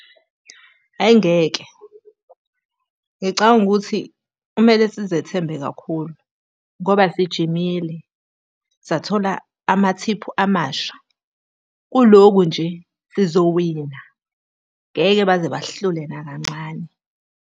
Hhayi ngeke, ngicabanga ukuthi kumele sizethembe kakhulu, ngoba sijimile, sathola amathiphu amasha. Kulokhu nje sizowina, ngeke baze basihlule nakancane.